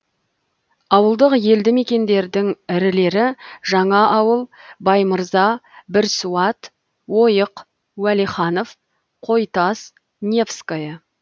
ауылдық елді мекендердің ірілері жаңаауыл баймырза бірсуат ойық уәлиханов қойтас невское